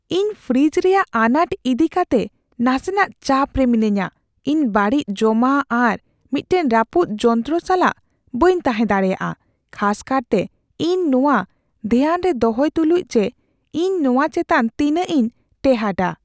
ᱤᱧ ᱯᱷᱨᱤᱡᱽ ᱨᱮᱭᱟᱜ ᱟᱱᱟᱴ ᱤᱫᱤ ᱠᱟᱛᱮ ᱱᱟᱥᱮᱱᱟᱜ ᱪᱟᱯ ᱨᱮ ᱢᱤᱱᱟᱹᱧᱟ; ᱤᱧ ᱵᱟᱹᱲᱤᱡ ᱡᱚᱢᱟᱜ ᱟᱨ ᱢᱤᱫᱴᱟᱝ ᱨᱟᱹᱯᱩᱫ ᱡᱚᱱᱛᱨᱚ ᱥᱟᱞᱟᱜ ᱵᱟᱹᱧ ᱛᱟᱦᱮᱸ ᱫᱟᱲᱮᱭᱟᱜᱼᱟ, ᱠᱷᱟᱥ ᱠᱟᱨᱛᱮ ᱤᱧ ᱱᱚᱶᱟ ᱫᱷᱮᱭᱟᱱ ᱨᱮ ᱫᱚᱦᱚᱭ ᱛᱩᱞᱩᱡ ᱡᱮ ᱤᱧ ᱱᱚᱣᱟ ᱪᱮᱛᱟᱱ ᱛᱤᱱᱟᱹᱜ ᱤᱧ ᱴᱮᱸᱦᱟᱰᱟ ᱾